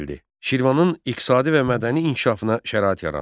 Şirvanın iqtisadi və mədəni inkişafına şərait yarandı.